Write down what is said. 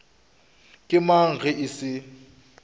ke mang ge e se